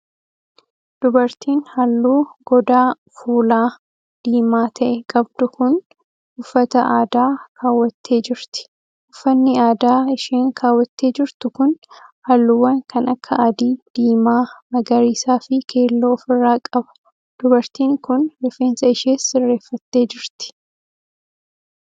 Dubartiin halluu godaa fuulaa diimaa ta'e qabdu kun, uffata aadaa kaawwattee jirti. Uffanni aadaa isheen kaawwattee jirtu kun, haalluuwwan kan akka adii, diimaa, magariisa fi keelloo of irraa qaba. Dubartiin kun, rifeensa ishees sirreeffattee jirti.